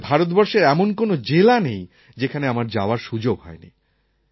বোধহয় ভারতবর্ষের এমন কোনও জেলা নেই যেখানে আমার যাওয়ার সুযোগ হয় নি